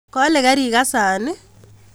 Kole kerikasan i?